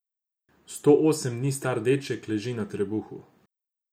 Sto osem dni star deček leži na trebuhu.